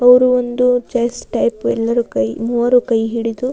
ಅವ್ರು ಒಂದು chess type ಎಲ್ಲರು ಕೈ ಮೂವರು ಕೈ ಹಿಡಿದು --